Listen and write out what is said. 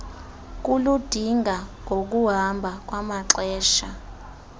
kuludinga ngokuhamba kwamaxesha